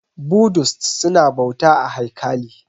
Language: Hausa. Budist su na bauta a haikali